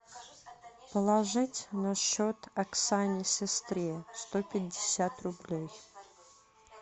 положить на счет оксане сестре сто пятьдесят рублей